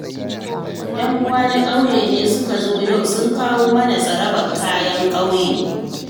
Ƴan'uwana na ƙauye ne suka zo yau, sun kowa mana tsarabar kayan ƙauye.